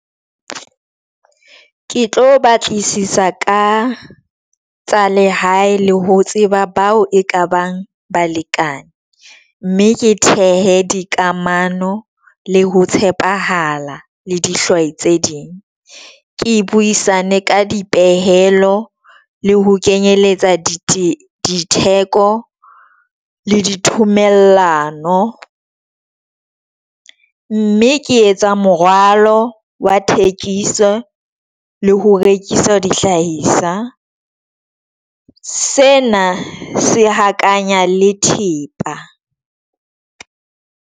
Ke tlo batlisisa ka tsa lehae le ho tseba bao e ka bang balekane mme ke thehe dikamano le ho tshepahala le dihlwai tse ding. Ke buisane ka dipehelo le ho kenyeletsa diteko le dithomellano, mme ke etsa moralo wa thekiso le ho rekisa di hlahisa. Sena se hakanya le thepa.